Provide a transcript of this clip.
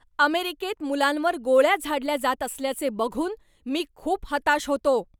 अमेरिकेत मुलांवर गोळ्या झाडल्या जात असल्याचे बघून मी खूप हताश होतो.